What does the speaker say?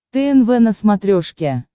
тнв на смотрешке